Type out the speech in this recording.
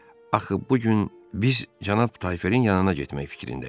Axı bu gün biz Cənab Tayferin yanına getmək fikrində idik.